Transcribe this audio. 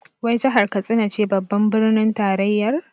Wai jahar Katsina ce babbar birnin tarayyar?